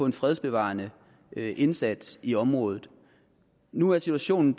en fredsbevarende indsats i området nu er situationen